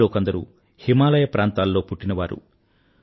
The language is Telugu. వారిలో కొందరు హిమాలయ ప్రాంతాల్లో పుట్టినవారు